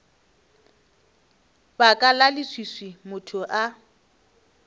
baka la leswiswi motho a